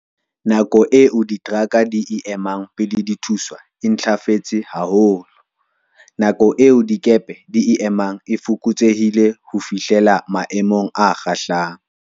Nako eo diteraka di e emang pele di thuswa e ntlafetse ha -holo. Nako eo dikepe di e emang e fokotsehile ho fihlela maemong a kgahlang.